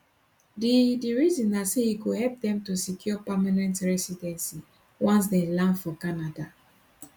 di di reason na say e go help dem to secure permanent recidency once dem land for canada